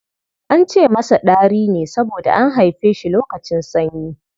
An ce masa Ɗari ne saboda an haife shi lokacin sanyi.